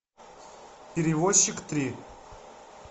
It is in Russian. перевозчик три